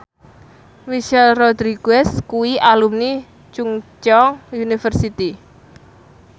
Michelle Rodriguez kuwi alumni Chungceong University